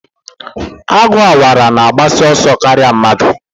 Agụ Awara na-agbasi ọsọ karịa mmadụ.